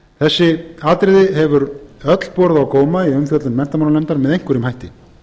þessi atriði hefur öll borið á góma í umfjöllun menntamálanefndar með einhverjum hætti